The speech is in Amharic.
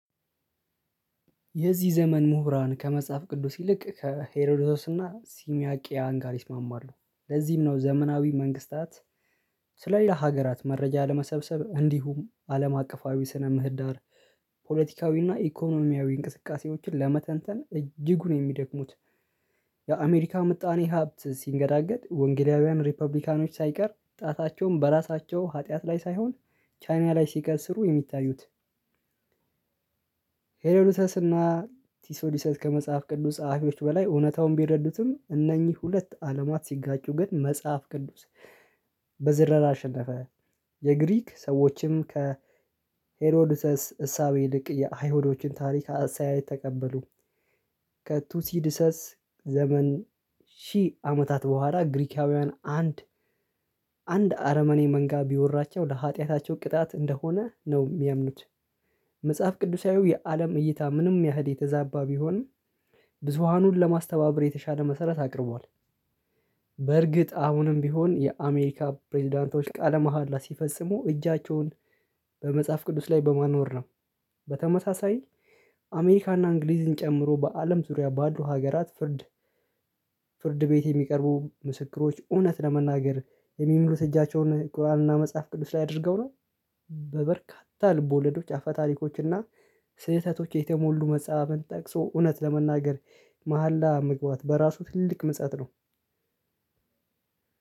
የዚህ ዘመን ሙሁራን ከመጽሐፍ ቅዱስ ይልቅ ከሄሮዶስና ሲሚያቂያን ጋር ይስማማሉ ለዚህም ነው ዘመናዊ መንግስታት። የዚህ ዘመን ሙሁራን ከመጽሐፍ ቅዱስ ይልቅ ከሄሮዶስና ሲሚያቂያን ጋር ይስማማሉ ለዚህም ነው ዘመናዊ መንግስታት። የአመሪካን ምጣኔ ሃብት ስንገዳገድ ወንግላዊያን ሪፓቢሊካኖች ሳይቀር ጣታቸውን በራሳቸው ህጥያት ላይ ሳይሆን ቻይና ላይ ስቀስሩ የሚታዩት። ሄሮድተስ እና ቲሶዲሰስ ከመጽሐፍ ቅዱስ ጸሐፊዎች በላይ እውነታውን ቢረዱትም እነኚህ ሁለት አለማት ሲጋጩ ግን መጽሐፍ ቅዱስ በዝረራ አሸነፈ። የግሪክ ሰዎችም ከሄሮድሰስ እሳቤ ይልቅ የአይሁዶችን ታሪክ አስተያየት ተቀበሉ። ከቱሲድሰስ ዘመን ሺህ አመታት በኋላ ግሪካውያን አንድ አንድ አረመኔ መንጋ ቢወራቸው ለሀጢያታቸው ቅጣት እንደሆነ ነው የሚያምኑት። መጽሐፍ ቅዱሳዊው የአለም እይታ ምንም ያህል የተዛባ ቢሆን ብዙሃኑን ለማስተባበር የተሻለ መሰረት አቅርቧል። በርግጥ አሁንም ቢሆን የአሜሪካ ፕሬዝዳንቶች ቃለ መሃላ ሲፈጽሙ እጃቸውን በመጽሐፍ ቅዱስ ላይ በማኖር ነው። በተመሳሳይ አሜሪካና እንግሊዝን ጨምሮ በአለም ዙሪያ ባሉ ሀገራት ፍርድ ፍርድ ቤት የሚቀርቡ ምስክሮች እውነት ለመናገር የሚሉት እጃቸውን ቁርአንና መጽሐፍ ቅዱስ ላይ አድርገው ነው። በበርካታ ልቦለዶች አፈ ታሪኮችና ስህተቶች የተሞሉ መጽሐፍን ጠቅሶ እውነት ለመናገር መሃላ መግባት በራሱ ትልቅ ምጸት ነው።